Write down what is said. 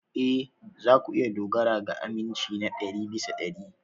Ee, za ku iya dogara ga aminci na ɗari bisa ɗari.